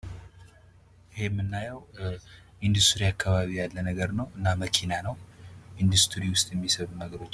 ይህ የምናየዉ እንዱስትሪ አካባቢ ያለ ነገር ነው፣ እና መኪና ነው እንዱስትሪ ዉስጥ የሚሰሩ ነገሮችን ነው።